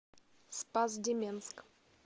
спас деменск